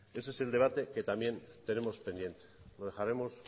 ese es el debate que también tenemos pendiente lo dejaremos